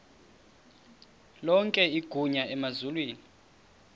lonke igunya emazulwini